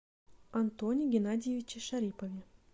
антоне геннадьевиче шарипове